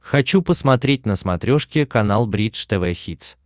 хочу посмотреть на смотрешке канал бридж тв хитс